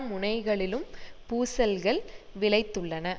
முனைகளிலும் பூசல்கள் விளைத்துள்ளன